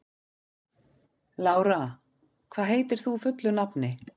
Lára, hvað heitir þú fullu nafni?